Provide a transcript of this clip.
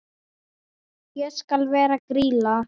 Ég skal vera Grýla.